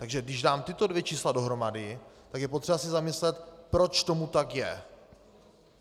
Takže když dám tato dvě čísla dohromady, tak je potřeba se zamyslet, proč tomu tak je.